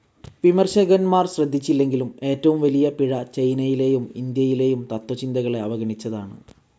വിമർശകന്മാർ ശ്രദ്ധിച്ചില്ലെങ്കിലും, ഏറ്റവും വലിയ പിഴ ചൈനയിലേയും ഇൻഡ്യയിലേയും തത്ത്വചിന്തകളെ അവഗണിച്ചതാണ്.